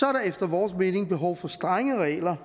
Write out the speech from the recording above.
er der efter vores mening behov for strenge regler